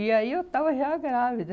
E aí, eu estava já grávida.